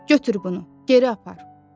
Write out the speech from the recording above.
Götür bunu, geri apar.